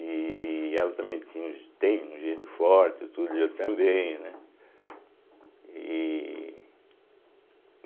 E ela também tinha um gê tem um gênio forte, tudo, e eu também, né? e